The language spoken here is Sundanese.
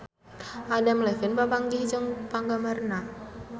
Adam Levine papanggih jeung penggemarna